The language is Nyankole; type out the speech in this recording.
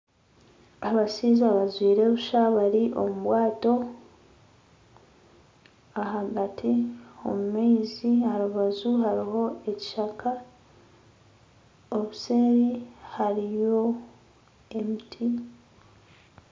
Abashaija bajwire busha bari omu bwato ahagati omu maizi aha rubaju haruho ekishaka obuseeri hariyo emiti.